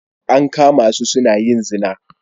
An kama su suna yin zina